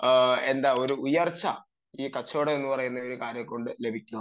എന്താ പറയുന്നത് ഒരു ഉയർച്ച ഈ കച്ചവടം എന്ന് പറയുന്ന കാര്യം കൊണ്ട് ലഭിക്കും